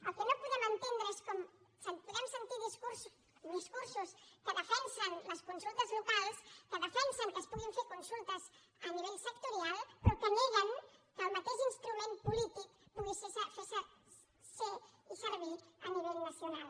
el que no podem entendre és com podem sentir discursos que defensen les consultes locals que defensen que es puguin fer consultes a nivell sectorial però que neguen que el mateix instrument polític pugui ser i servir a nivell nacional